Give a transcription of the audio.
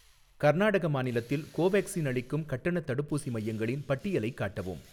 கர்நாடக மாநிலத்தில் கோவேக்சின் அளிக்கும் கட்டணத் தடுப்பூசி மையங்களின் பட்டியலைக் காட்டவும்.